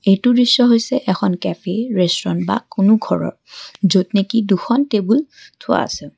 এইটো দৃশ্য হৈছে এখন কেফে ৰেষ্টুৰেন্ট বা কোনো ঘৰৰ য'ত নেকি দুখন টেবুল থোৱা আছে।